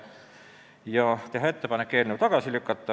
Ka otsustati teha ettepanek eelnõu tagasi lükata.